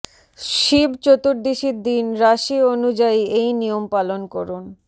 শিব চতুর্দশীর দিন রাশি অনুযায়ী এই নিয়ম পালন করুন